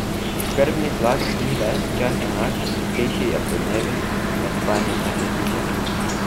Krvni tlak ni ves čas enak, višji je podnevi, med spanjem pa se zniža.